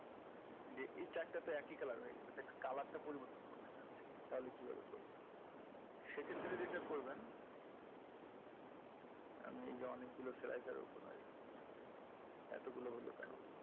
যে এই চারটা তো একই color হয়ে গেছে তাই color টা পরিবর্তন করতে চাচ্ছেন তাহলে কীভাবে করবেন সেক্ষেত্রে যেটা করবেন এই যে আমি অনেকগুলা এতগুলো হইলো কেন?